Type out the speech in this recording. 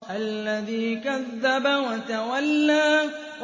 الَّذِي كَذَّبَ وَتَوَلَّىٰ